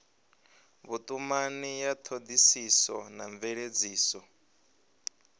vhutumani ya thodisiso na mveledziso